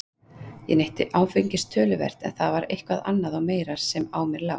Ég neytti áfengis töluvert en það var eitthvað annað og meira sem á mér lá.